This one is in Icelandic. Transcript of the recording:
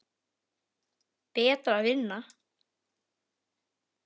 Betra að vinna.